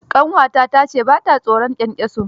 Ƙanwata ta ce ba ta tsoron kyankyaso.